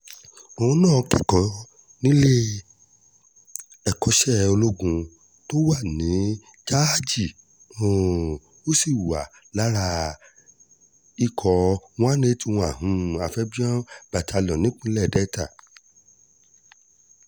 òun náà kẹ́kọ̀ọ́ nílé ẹ̀kọ́ṣẹ́ ológun tó wà ní jájì um ó sì wà lára ikọ̀ one hundred eighty one um amphibous battalion nípínlẹ̀ delta